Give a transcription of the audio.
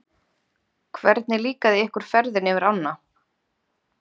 Hvernig líkaði ykkur ferðin yfir ánna?